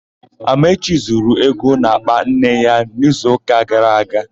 Amaechi zuru ego n'àkpà nne ya n'izuụka gara aga.